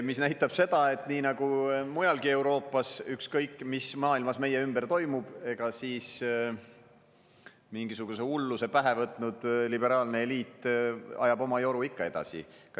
Mis näitab seda, et nii nagu mujalgi Euroopas, ükskõik, mis maailmas meie ümber toimub, siis mingisuguse hulluse pähe võtnud liberaalne eliit ajab oma joru ikka edasi.